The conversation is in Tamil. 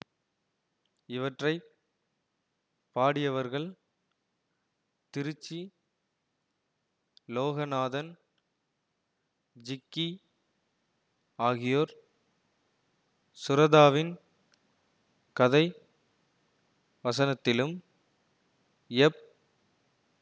இவற்றை பாடியவர்கள் திருச்சி லோகநாதன் ஜிக்கி ஆகியோர் சுரதாவின் கதைவசனத்திலும் எப்